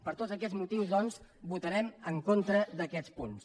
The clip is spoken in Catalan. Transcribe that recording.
per tots aquests motius doncs votarem en contra d’aquests punts